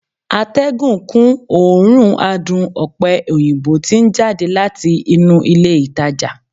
atégùn kun òórùn adùn òpe òyìnbó ti n jade lati inu ilé ìtajà